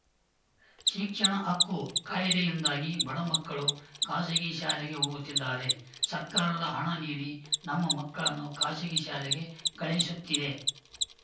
ಶಿಕ್ಷಣ ಹಕ್ಕು ಕಾಯಿದೆಯಿಂದಾಗಿ ಬಡ ಮಕ್ಕಳು ಖಾಸಗಿ ಶಾಲೆಗೆ ಹೋಗುತ್ತಿದ್ದಾರೆ ಸರ್ಕಾರದ ಹಣ ನೀಡಿ ನಮ್ಮ ಮಕ್ಕಳನ್ನು ಖಾಸಗಿ ಶಾಲೆಗೆ ಕಳುಹಿಸುತ್ತಿದೆ